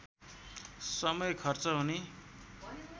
समय खर्च हुने